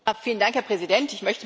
Vielen Dank Herr Präsident!